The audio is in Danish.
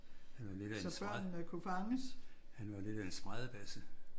Han var lidt af en han var lidt af en spradebasse